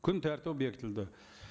күн тәртібі бекітілді